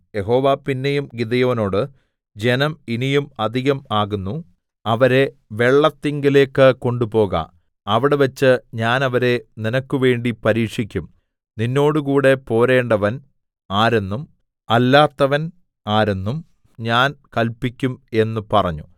യഹോവ പിന്നെയും ഗിദെയോനോട് ജനം ഇനിയും അധികം ആകുന്നു അവരെ വെള്ളത്തിങ്കലേക്ക് കൊണ്ടുപോക അവിടെവെച്ച് ഞാൻ അവരെ നിനക്കുവേണ്ടി പരീക്ഷിക്കും നിന്നോടുകൂടെ പോരേണ്ടവൻ ആരെന്നും അല്ലാത്തവൻ ആരെന്നും ഞാൻ കല്പിക്കും എന്ന് പറഞ്ഞു